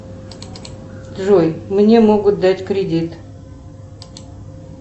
джой мне могут дать кредит